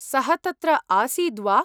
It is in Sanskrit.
सः तत्र आसीद्वा?